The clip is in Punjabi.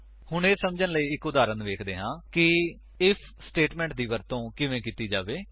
ਹੁਣ ਇਹ ਸੱਮਝਣ ਲਈ ਇੱਕ ਉਦਾਹਰਣ ਵੇਖਦੇ ਹਾਂ ਕਿ ਆਈਐਫ ਸਟੇਟਮੇਂਟ ਦੀ ਵਰਤੋ ਕਿਵੇਂ ਕੀਤੀ ਜਾ ਸਕਦਾ ਹੈ